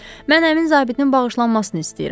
Mən həmin zabitin bağışlanmasını istəyirəm.